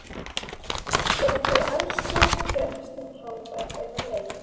Þegar þau elskuðust gerðist hún hávær er á leið.